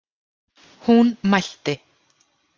Hún mælti: